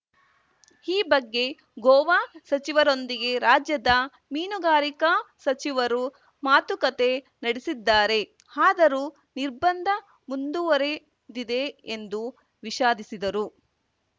ಈ ಬಗ್ಗೆ ಗೋವಾ ಸಚಿವರೊಂದಿಗೆ ರಾಜ್ಯದ ಮೀನುಗಾರಿಕಾ ಸಚಿವರು ಮಾತುಕತೆ ನಡೆಸಿದ್ದಾರೆ ಆದರೂ ನಿರ್ಬಂಧ ಮುಂದುವರಿದಿದೆ ಎಂದು ವಿಷಾದಿಸಿದರು